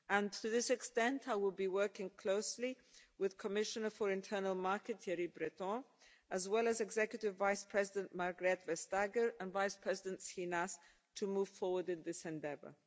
To this extent, I will be working closely with the Commissioner for the Internal Market, Thierry Breton, as well as Executive Vice-President Margrethe Vestager and Vice-President Schinas to move forward in this endeavour.